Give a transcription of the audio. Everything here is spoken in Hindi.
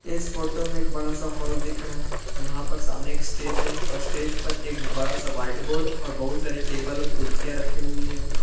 इस फोटो में एक बड़ा सा हॉल दिख रहा है जहां पर सामने स्टेज है और स्टेज पर एक बड़ा सा व्हाइटबोर्ड और बहुत सारे टेबल और कुर्सियां रखी हुई है।